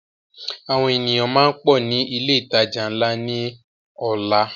Àwọn ènìyàn máa pọ ní ilé ìtajà ńlá ni ọ̀la.